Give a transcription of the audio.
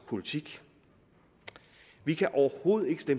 se ud